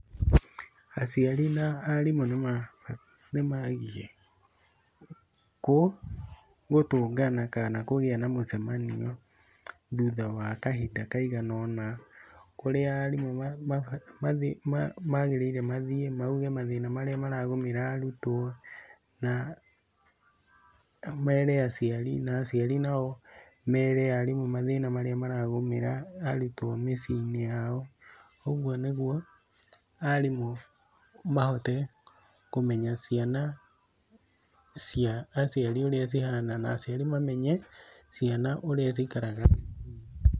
Aciari na arimũ nĩ maagiĩ gũtũngana kana kũgĩa na mũcemanio thutha wa kahinda kaiganona kũrĩa arimũ maagĩrĩire mathiĩ mauge mathĩna marĩa maragũmĩra arutwo na mere aciari, na aciari nao mere arimũ mathĩna marĩa maragũmĩra arutwo mĩciĩ-inĩ yao, ũguo nĩguo arimũ mahote kũmenya ciana cia aciari ũrĩa cihana na aciari mamenye ciana ũrĩa cikaraga thukuru.